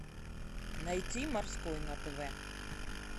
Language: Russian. найти морской на тв